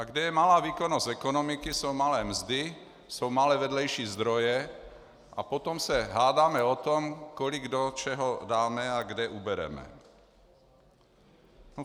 A kde je malá výkonnost ekonomiky, jsou malé mzdy, jsou malé vedlejší zdroje, a potom se hádáme o tom, kolik do čeho dáme a kde ubereme.